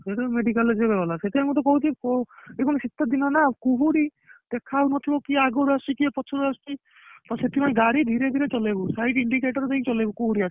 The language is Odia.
ଶୋଉଠୁ medical ସିଏ ଗଲା ସେଇଥିପାଇଁକି ତତେ ମୁଁ କହୁଛି ଏଇନା ଶୀତ ଦିନ ନା କୁହୁଡି ଦେଖାଯାଉନଥିବ କିଛି କିଏ ଆଗରୁ ଆସୁଛି କିଏ ପଛରୁ ଆସୁଛି ତ ସେଇଥିପାଇଁକି ଗାଡି ଧୀରେ ଧୀରେ ଚଳେଇବୁ light indicator ଦେଇକି ଚଳେଇବୁ କୁହୁଡି ଆସିଲେ